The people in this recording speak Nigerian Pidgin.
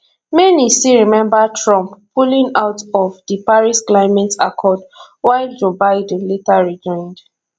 many still remember trump pulling out of di paris climate accord while joe biden later rejoined